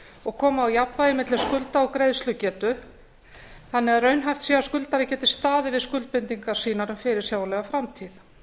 og koma á jafnvægi milli skulda og greiðslugetu þannig að raunhæft sé að skuldari geti staðið við skuldbindingar sínar um fyrirsjáanlega framtíð